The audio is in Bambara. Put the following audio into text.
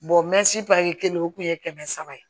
mɛsi pari kelen o kun ye kɛmɛ saba ye